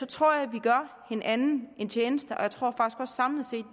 tror jeg vi gør hinanden en tjeneste og jeg tror sådan set